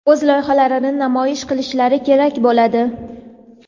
o‘z loyihalarini namoyish qilishlari kerak bo‘ladi:.